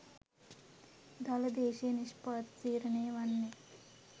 දළ දේශීය නිෂ්පාදිතය තීරණය වන්නේ